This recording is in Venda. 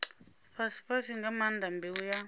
fhasifhasi nga maanḓa mbeu ya